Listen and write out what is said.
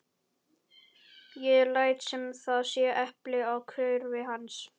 Ég læt sem það sé epli á hvirfli hans.